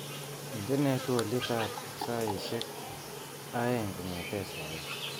Indenee twoliotab saishek aeng kongetee sai